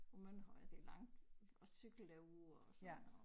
På Mønterhøj og det langt at cykle derud og sådan noget